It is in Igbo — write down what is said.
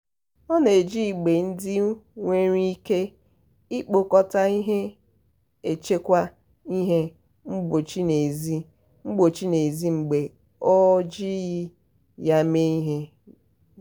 ọ na-eji igbe ndị nwere ike ikpokọta ihe echekwa ihe mgbochi n'ezi mgbochi n'ezi mgbe o jighị ya eme ihe.